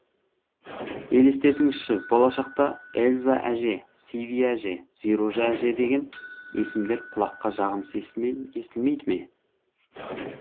елестетіңізші болашақта эльза әже сиви әже зируза әже деген есімдер құлаққа жағымсыз естілмейді ме